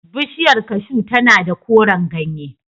Bishiyar cashew tana da koren ganye.